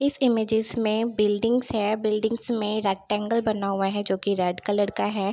इस इमेजेस में बिल्डिंग्स है बिल्डिंग्स में रेक्टेंगल बना हुआ है जोकि रेड कलर का है।